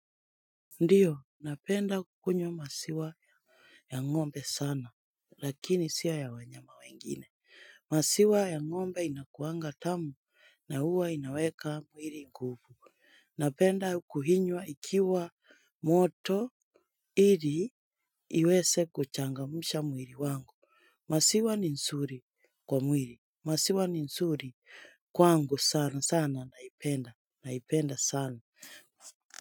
Ndiyo, napenda kukunyo masiwa ya ng'ombe sana, lakini siya ya wanyama wengine. Masiwa ya ng'ombe inakuangatamu na huwa inaweka muiri nguvu. Napenda kuinywa ikiwa moto ili iweze kuchangamsha mwili wangu. Maziwa ni nzuri kwa mwili. Maziwa ni nzuri kwangu sana sana naipenda. Naipenda sana.